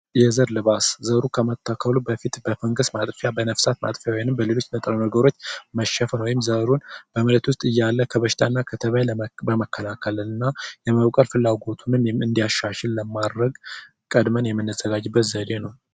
የዘር ልባስ ዘሩ ከመታከሉ በፊት በፈገስ ማጥፊያ በነፍሳት ማጥፊያ ወይም በሌሎች ንጥረ ነገሮች መሸፈን ወይም ዘሩን በመሬት ውስጥ እያለ ከበሽታና ከተባይ በመከላከልና የመብቀል ፍላጎቱን እንዲያሻሽል ለማረግ ቀድመን የመነዘጋጅበት ዘዴ ነው።